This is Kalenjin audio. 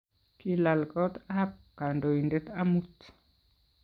kilal kot ab kandoindet amut